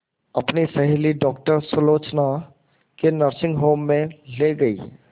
अपनी सहेली डॉक्टर सुलोचना के नर्सिंग होम में ली गई